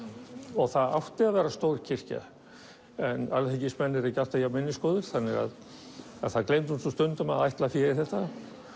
og það átti að vera stór kirkja en alþingismenn eru ekki alltaf jafn þannig að það gleymdist stundum að ætla fé í þetta